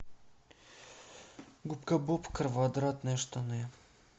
губка боб квадратные штаны